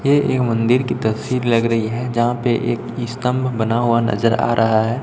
ये एक मंदिर की तस्वीर लग रही है जहां पे एक स्तंभ बना हुआ नजर आ रहा है।